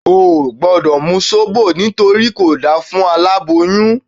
O ò gbọ́dọ̀ mu Sóbò nítorí kò dáa fún aláboyún